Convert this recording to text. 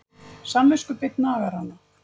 Samviskubit nagar hana.